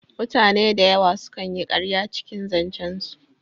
Mutane dayawa su kan yi ƙarya cikin zancen su